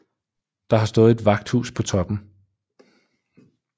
Det har stået et vagthus på toppen